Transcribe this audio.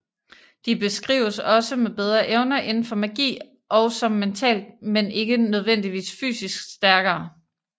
De beskrives også med bedre evner inden for magi og som mentalt men ikke nødvendigvis fysisk stærkere